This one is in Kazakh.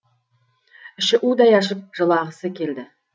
іші удай ашып жылағысы келді